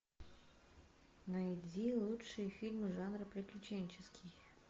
найди лучшие фильмы жанра приключенческий